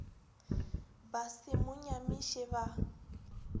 ba se mo nyamiše ba